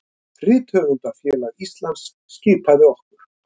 Rithöfundafélag Íslands skipaði okkur